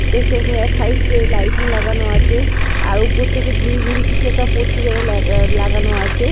দেখতে পারছেন এক সাইড এ লাইটিং লাগানো আছে আর উপর থেকে ঝুড়িঝুড়ি কিছু একটা পরছে যেন লে লাগানো আছে।